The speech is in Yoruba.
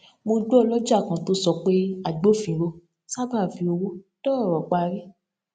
mo gbọ ọlọjà kan tó sọ pé agbófinró sábà fi owó dá ọrọ parí